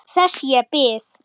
Þess ég bið.